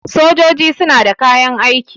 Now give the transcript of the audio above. sojoji suna da kayan aiki